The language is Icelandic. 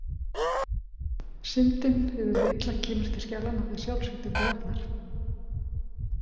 Syndin eða hið illa kemur til skjalanna þegar sjálfsvitundin vaknar.